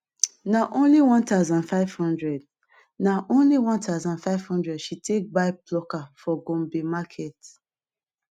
na only 1500 na only 1500 she take buy plucker for gombe market